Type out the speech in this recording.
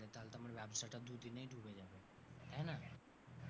তাহলে তো আমার ব্যবসাটা দুদিনেই ডুবে যাবে, তাই না?